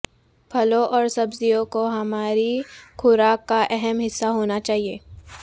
پھلوں اور سبزیوں کو ہماری خوراک کا اہم حصہ ہونا چاہیے